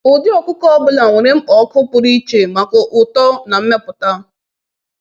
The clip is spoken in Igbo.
“Ụdị ọkụkọ ọ bụla nwere mkpa ọkụ pụrụ iche maka uto na mmepụta.”